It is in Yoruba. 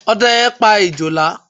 Ọdẹ yẹn pa Ejòlá.